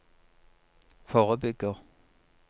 forebygger